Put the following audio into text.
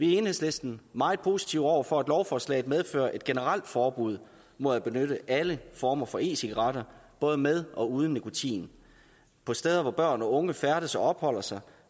i enhedslisten meget positive over for at lovforslaget medfører et generelt forbud mod at benytte alle former for e cigaretter både med og uden nikotin på steder hvor børn og unge færdes og opholder sig